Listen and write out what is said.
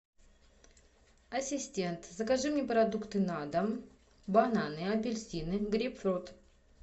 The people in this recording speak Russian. ассистент закажи мне продукты на дом бананы апельсины грейпфрут